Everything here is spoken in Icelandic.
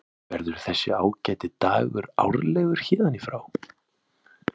Verður þessi ágæti dagur árlegur héðan í frá?